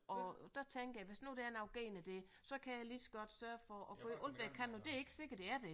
Og der tænker jeg hvis nu der er noget gen i det så kan jeg lige så godt sørge for at gøre alt hvad jeg kan men det er ikke sikkert der er det